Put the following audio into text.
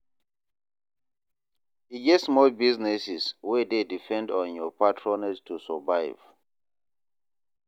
E get small businesses wey dey depend on yur patronage to survive.